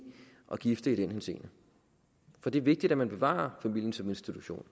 og gifte i den henseende for det er vigtigt at man bevarer familien som institution